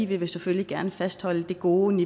vil selvfølgelig gerne fastholde den gode